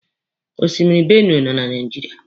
Osimiri Benue nọ na Naijiria.